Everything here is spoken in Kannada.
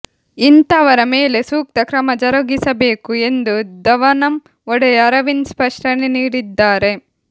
ಇಂಥವರ ಮೇಲೆ ಸೂಕ್ತ ಕ್ರಮ ಜರುಗಿಸಬೇಕು ಎಂದು ಧವನಂ ಒಡೆಯ ಅರವಿಂದ್ ಸ್ಪಷ್ಟನೆ ನೀಡಿದ್ದಾರೆ